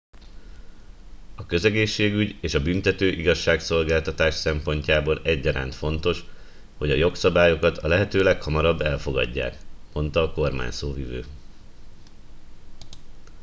a közegészségügy és a büntető igazságszolgáltatás szempontjából egyaránt fontos hogy a jogszabályokat a lehető leghamarabb elfogadják - mondta a kormányszóvivő